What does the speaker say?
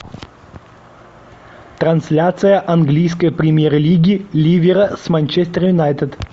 трансляция английской премьер лиги ливера с манчестер юнайтед